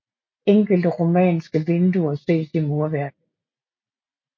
Enkelte romanske vinduer ses i murværket